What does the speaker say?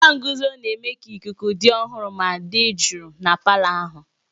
Fáan guzoro na-eme ka ikuku dị ọhụrụ ma dị jụụ na palọ ahụ.